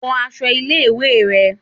Wọ aṣọ ilé ìwé rẹ